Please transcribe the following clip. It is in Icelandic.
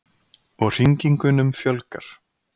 Og hringingunum fjölgar.